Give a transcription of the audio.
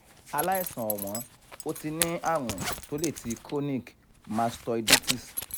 àlaìsàn ọ̀wọ́n o ti ní àrùn to le ti chronic mastoiditis